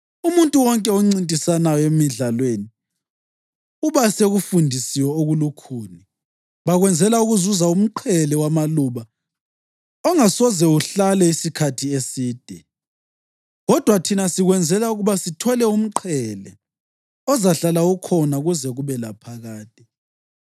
Umuntu wonke oncintisayo emidlalweni uba sekufundisweni okulukhuni. Bakwenzela ukuzuza umqhele wamaluba ongasoze uhlale isikhathi eside, kodwa thina sikwenzela ukuba sithole umqhele ozahlala ukhona kuze kube laphakade.